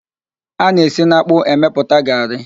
A na-esi n'ákpụ́ emepụta garrị.